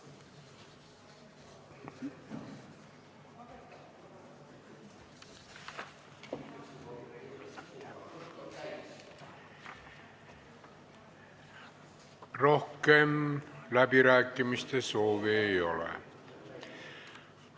Rohkem läbirääkimiste soovi ei ole.